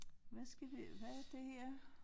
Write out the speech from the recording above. Hvad skal vi hvad er det her